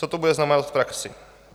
Co to bude znamenat v praxi?